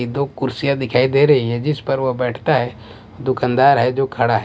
ये दो कुर्सियां दिखाई दे रही हैं जिस पर वह बैठता है दुकानदार है जो खड़ा है।